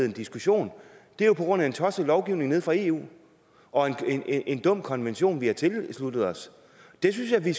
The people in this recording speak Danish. en diskussion er jo på grund af en tosset lovgivning nede fra eu og en dum konvention vi har tilsluttet os det synes jeg vi